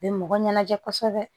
U bɛ mɔgɔ ɲɛnajɛ kosɛbɛ